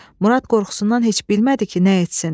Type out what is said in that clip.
Murad qorxusundan heç bilmədi ki, nə etsin.